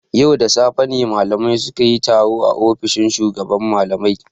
Yau da safe ne malamai sun yi taro a ofishin shugaban malamai.